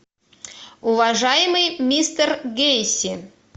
уважаемый мистер гейси